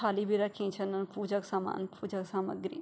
थाली भी रखीं छन पूजा क समान पूजा क सामग्री --